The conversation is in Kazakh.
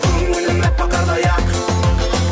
көңілім әппақ қардай ақ